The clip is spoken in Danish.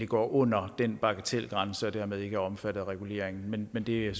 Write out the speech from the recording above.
går under den bagatelgrænse og dermed ikke er omfattet af reguleringen men det er